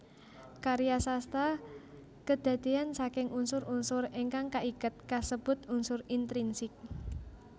Karya sastra kedadeyan saking unsur unsur ingkang kaiket kasebut unsur intrinsik